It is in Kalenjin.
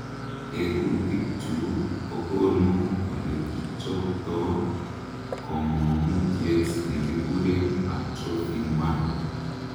Tekutikchu kokonu olekichobto komong'utiet nekikuren atrophin 1.